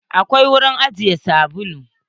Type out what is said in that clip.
Akwai wurin ajiye sabulu.